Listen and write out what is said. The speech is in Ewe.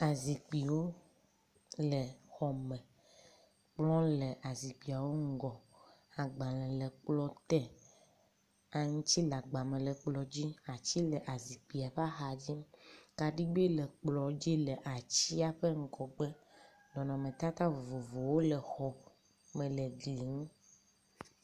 Azikpiwo le xɔ me. Kplɔ le azikpuiawo ŋgɔ. Agbale le kplɔ te. Aŋtsi le agbame le kplɔ dzi. ati le azikpia ƒe axa dzi. Kaɖigbe le kplɔ dzi le atsia ƒe ŋgɔgbe. Nɔnɔmetata vovovowo le xɔ me le glinu.